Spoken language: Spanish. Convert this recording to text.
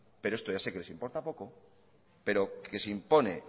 pero esto ya sé que les importa poco pero que se impone